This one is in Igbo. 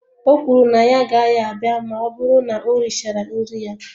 O kwuru na ya agaghị abịa ma ọ bụrụ na o richara nri ya